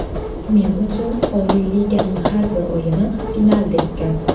Men uchun Oliy Liganing har bir o‘yini finaldek gap.